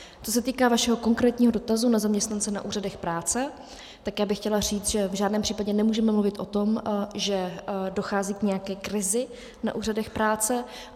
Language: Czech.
Co se týká vašeho konkrétního dotazu na zaměstnance na úřadech práce, tak já bych chtěla říct, že v žádném případě nemůžeme mluvit o tom, že dochází k nějaké krizi na úřadech práce.